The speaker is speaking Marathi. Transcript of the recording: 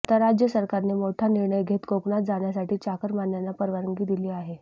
आता राज्य सरकारने मोठा निर्णय घेत कोकणात जाण्यासाठी चाकरमान्यांना परवानगी दिली आहे